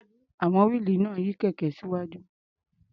À̀wọn wíìlì náà ń yí kẹ̀kẹ́ síwájú.